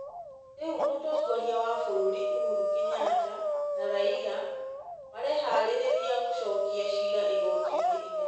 Rĩrĩ mũtongoria wa bũrũri Uhuru Kenyatta na Raila mareharĩria gũcokia ciira igoti-inĩ inene.